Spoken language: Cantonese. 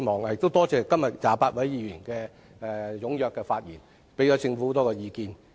我感謝28位議員踴躍發言，給予政府很多意見。